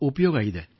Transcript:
ಉಪಯುಕ್ತತೆ ಇದೆ